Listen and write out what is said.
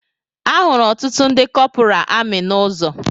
Ahụrụ ọtụtụ ndị kọpura amị n'ụzọ